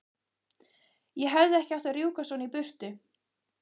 Ég hefði ekki átt að rjúka svona í burtu.